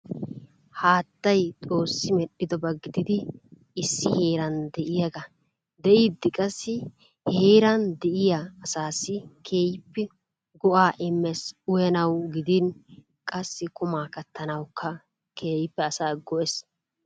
Haattay xoossi medhdhidoba gididi issi heeran de'iyagaa. De'iiddi qassi he heeran de'iya asaassi keehippe go'aa immees. Uyanawu gidin qassi qumaa kattanawukka keehippe asaa go'ees.